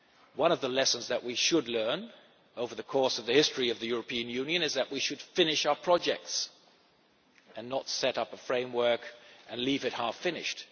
One of the lessons that we should learn over the course of the history of the European Union is that we should finish our projects and not set up a framework and leave it half finished.